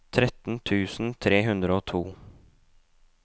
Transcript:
tretten tusen tre hundre og to